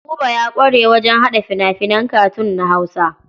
Buba ya ƙware wajen haɗa fina-finan katun na Hausa.